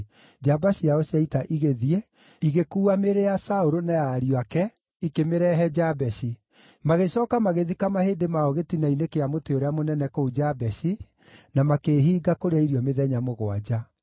njamba ciao cia ita igĩthiĩ, igĩkuua mĩĩrĩ ya Saũlũ na ya ariũ ake, ikĩmĩrehe Jabeshi. Magĩcooka magĩthika mahĩndĩ mao gĩtina-inĩ kĩa mũtĩ ũrĩa mũnene kũu Jabeshi, na makĩĩhinga kũrĩa irio mĩthenya mũgwanja.